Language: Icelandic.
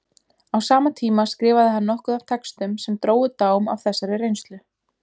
Á sama tíma skrifaði hann nokkuð af textum sem drógu dám af þessari reynslu.